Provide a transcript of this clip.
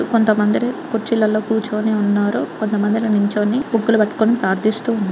కొంతమందిరి కుర్చీలలో కూర్చొని ఉన్నారు. కొంతమందిరి నిల్చోని బుక్కు లు పట్టుకొని ప్రార్థిస్తూ ఉన్నా --